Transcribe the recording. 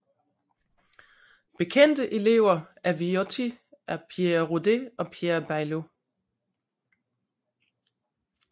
Bekendte elever af Viotti er Pierre Rode og Pierre Baillot